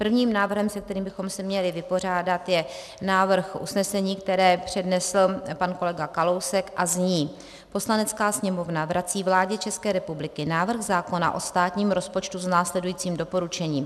Prvním návrhem, se kterým bychom se měli vypořádat, je návrh usnesení, které přednesl pan kolega Kalousek a zní: "Poslanecká sněmovna vrací vládě České republiky návrh zákona o státním rozpočtu s následujícím doporučením.